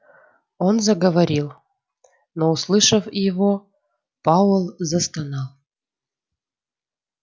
он заговорил но услышав его пауэлл застонал